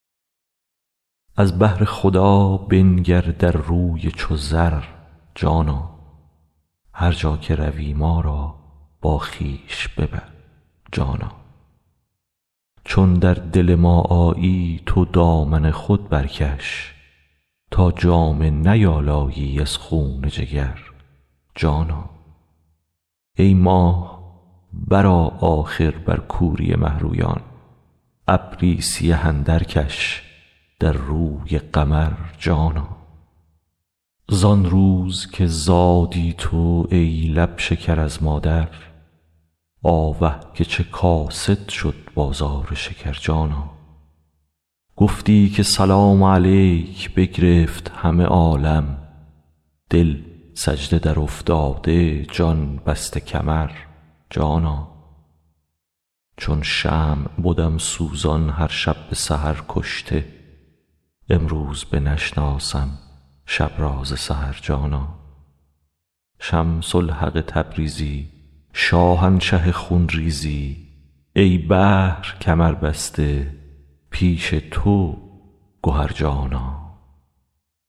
از بهر خدا بنگر در روی چو زر جانا هر جا که روی ما را با خویش ببر جانا چون در دل ما آیی تو دامن خود برکش تا جامه نیالایی از خون جگر جانا ای ماه برآ آخر بر کوری مه رویان ابری سیه اندرکش در روی قمر جانا زان روز که زادی تو ای لب شکر از مادر آوه که چه کاسد شد بازار شکر جانا گفتی که سلام علیک بگرفت همه عالم دل سجده درافتاده جان بسته کمر جانا چون شمع بدم سوزان هر شب به سحر کشته امروز بنشناسم شب را ز سحر جانا شمس الحق تبریزی شاهنشه خون ریزی ای بحر کمربسته پیش تو گهر جانا